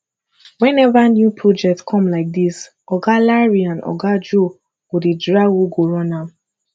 whenever new project come like dis oga larry and oga joe go dey drag who go run am